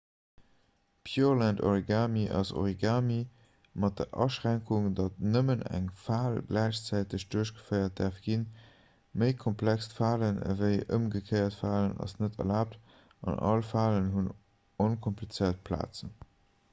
pureland-origami ass origami mat der aschränkung datt nëmmen eng fal gläichzäiteg duerchgeféiert däerf ginn méi komplext falen ewéi ëmgekéiert falen ass net erlaabt an all falen hunn onkomplizéiert plazen